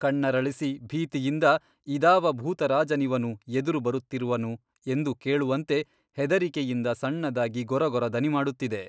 ಕಣ್ಣರಳಿಸಿ ಭೀತಿಯಿಂದ ಇದಾವ ಭೂತರಾಜನಿವನು ಎದುರು ಬರುತ್ತಿರುವನು ಎಂದು ಕೇಳುವಂತೆ ಹೆದರಿಕೆಯಿಂದ ಸಣ್ಣದಾಗಿ ಗೊರಗೊರ ದನಿಮಾಡುತ್ತಿದೆ.